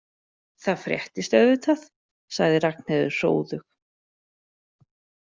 Það fréttist auðvitað, sagði Ragnheiður hróðug.